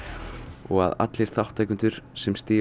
og allir þátttakendur sem stiga á